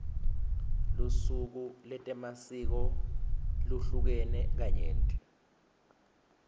lusuku letemasiko luhlukene kanyenti